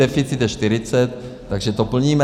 Deficit je 40, takže to plníme.